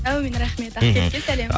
аумин рахмет ақкетікке сәлем